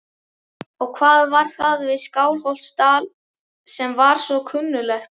Og hvað var það við Skálholtsstað sem var svo kunnuglegt?